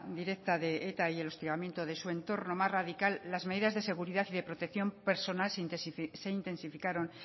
directa de eta y el hostigamiento de su entorno más radical las medidas de seguridad y de protección personal se intensificaron